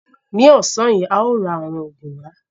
Ní ọ̀sán yìí, a ó ra àwọn ogún wá.